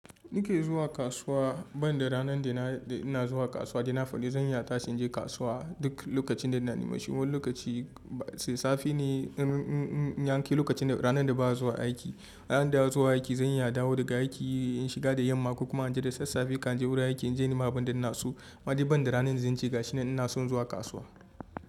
Ni ke zuwa kasuwa, ban da ranar da ina zuwa kasuwa, da ina fari zan iya tashi in je kasuwa duk lokacin da na nima. Shiru lokaci tsintsafi ne in, in, in, in yanke lokacin ranar da ba'a zuwa aiki. Ranar da zan zuwa aiki zan iya dawo daga aiki in shiga da yamma ko kuma in je da sassafe kan je wurin aiki in je nima abun da inna so. Ammai da ban da ranar zance ga shiga shine ina son zuwa kasuwa.